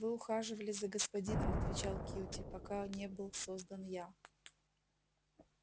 вы ухаживали за господином отвечал кьюти пока не был создан я